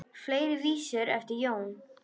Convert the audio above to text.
Fleiri vísur eru eftir Jón